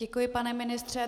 Děkuji, pane ministře.